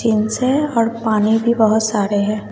है और पानी भी बहुत सारे है।